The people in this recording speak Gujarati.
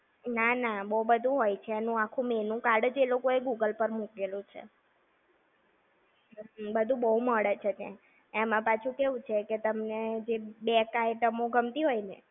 ના ના. બો બધું હોય છે. એનું આખું menu card જ એ લોકોએ Google પાર મૂકેલું છે! બધું બો મળે છે ત્યાં. એમાં પાછુ કેવું છે, કે તમને જે backed item ઓ ગમતી હોય ને,